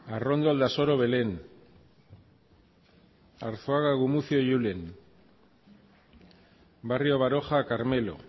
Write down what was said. arrondo aldasoro belén arzuaga gumuzio julen barrio baroja carmelo